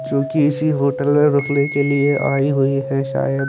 जोकि इसी होटल में रुकने के लिये आइ हुई है सायद--